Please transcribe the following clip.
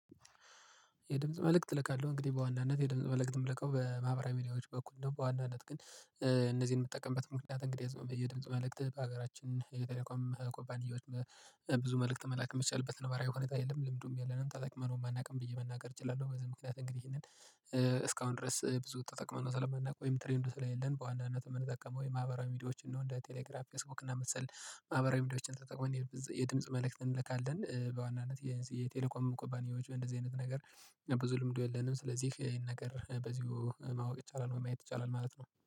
የድምጽ መልእክት እልካለሁ እንግዲህ በዋናነት የድምጽ መልእክት ምልከው በማህበራዊ ሚዲያዎች በኩል ነው በዋናነት ግን እነዚህን የምጠቀምበት ምክንያት እንግዲህ ዝም ብዬ ድምጽ መልእክት በሀገራችን የቴሌኮም ኩባንያዎች ብዙ መልእክት መላክ የሚቻልበት ነባራዊ ሁኔታ የለም ልምዱም የለንም ተጠቅመነውም አናውቅም ብዬ መናገር እችላለሁ። በዚህ ምክንያት እንግዲህ ይህንን እስካሁን ድረስ ብዙ ተጠቅመን ስለማናቅ ወይም ትሬንዱ ስለሌለን በዋናነት የምንጠቀመው የማህበራዊ ሚዲያዎችን ነው እንደ ቴሌግራም ፌስቡክ እና መሰል ማህበራዊ ሚዲያዎችን ተጠቅሞ የድምጽ መልእክት እንልካለን። በዋናነት የዚ የቴሌኮም ኩባንያዎች እንደዚህ አይነት ነገር ብዙ ልምዱ የለንም ስለዚህ ይሄን ነገር በዚሁ ማወቅ ይቻላል ማየት ይቻላል ማለት ነው